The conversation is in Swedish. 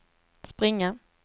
springa